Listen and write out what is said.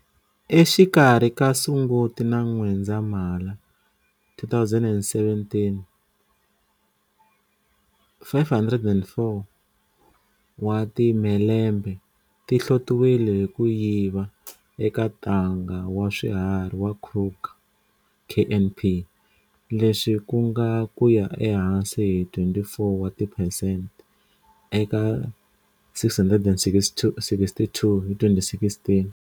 Exikarhi ka Sunguti na N'wendzamhala 2017, 504 wa timhelembe ti hlotiwile hi ku yiva eka Ntanga wa Swiharhi wa Kruger, KNP, leswi ku nga ku ya ehansi hi 24 wa tiphesente eka 662 hi 2016.